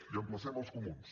i emplacem els comuns